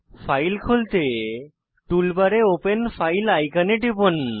file খুলতে tool বারে open file আইকনে টিপুন